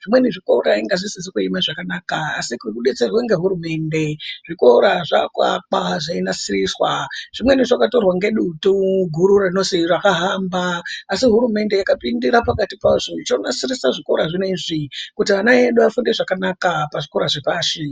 Zvimweni zvikora inga zvisizi kueme zvakanaka asi ngokudetserwe ngehurumende zvikora zvaakuakwa zveinasiriswa. Zvimweni zvakatorwa ngedutu guru rinozi rakahamba. Asi hurumende yakapindira pakati pazvo ichoonasirisa zvikora zvinezvi kuti ana edu afunde zvakanaka pazvikora zvepashi.